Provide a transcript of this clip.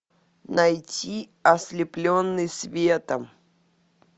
найти ослепленный светом